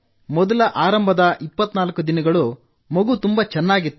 ಮೊದಲ ಆರಂಭದ 24 ದಿನಗಳು ಮಗು ತುಂಬಾ ಚೆನ್ನಾಗಿತ್ತು